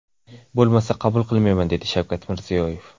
Bo‘lmasa, qabul qilmayman”, dedi Shavkat Mirziyoyev.